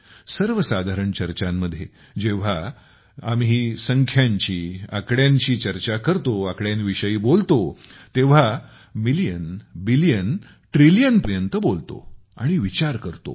सर्वसाधारण चर्चांमध्ये आम्ही जेव्हा संख्यांची आणि आकड्यांची विषयी बोलतो तेव्हा दशलक्ष अब्ज ट्रिलियन पर्यंत बोलतो आणि विचार करतो